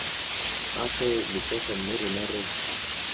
gagwe letsogo mme rona re